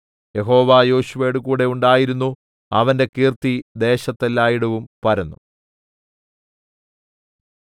യഹോവ യോശുവയോടുകൂടെ ഉണ്ടായിരുന്നു അവന്റെ കീർത്തി ദേശത്തു എല്ലാടവും പരന്നു